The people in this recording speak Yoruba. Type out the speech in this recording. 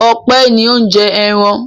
Ọpẹ́ ni ó ń jẹ ẹran.